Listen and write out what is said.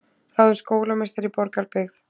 Ráðin skólameistari í Borgarbyggð